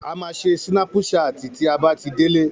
A máa ṣe sínápùsaatì tí a bá tí délé